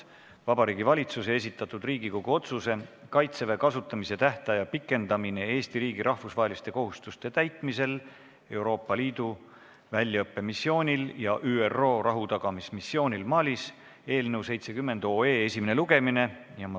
Vabariigi Valitsuse esitatud Riigikogu otsuse "Kaitseväe kasutamise tähtaja pikendamine Eesti riigi rahvusvaheliste kohustuste täitmisel Euroopa Liidu väljaõppemissioonil ja ÜRO rahutagamismissioonil Malis" eelnõu 70 esimene lugemine.